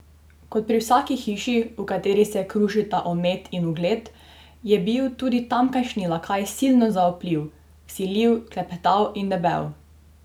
Kot pri vsaki hiši, v kateri se krušita omet in ugled, je bil tudi tamkajšnji lakaj silno zaupljiv, vsiljiv, klepetav in debel.